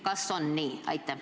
Kas on nii?